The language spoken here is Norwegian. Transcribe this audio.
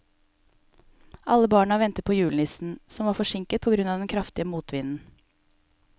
Alle barna ventet på julenissen, som var forsinket på grunn av den kraftige motvinden.